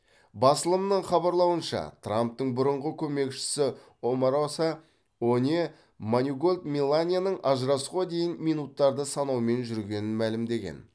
басылымның хабарлауынша трамптың бұрынғы көмекшісі омароса оне маниголт меланияның ажырасуға дейін минуттарды санаумен жүргенін мәлімдеген